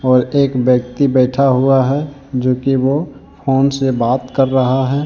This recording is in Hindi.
और एक व्यक्ति बैठा हुआ है जो कि वो फोन से बात कर रहा है।